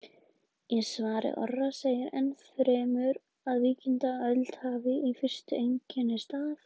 Í svari Orra segir enn fremur að víkingaöldin hafi í fyrstu einkennst af: